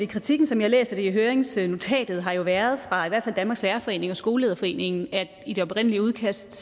kritikken som jeg læser det i høringsnotatet har jo været fra i hvert fald danmarks lærerforening og skolelederforeningen at i det oprindelige udkast